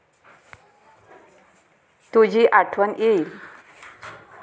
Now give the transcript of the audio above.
तुझी आठवण येईल.